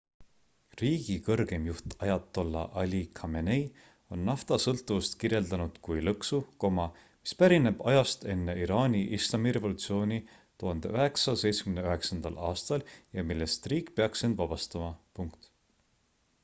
riigi kõrgeim juht ajatolla ali khamenei on naftasõltuvust kirjeldanud kui lõksu mis pärineb ajast enne iraani islamirevolutsiooni 1979 aastal ja millest riik peaks end vabastama